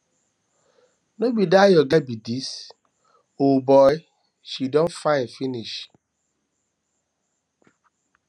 no be dat your girl be um dis o um boy um she don fine finish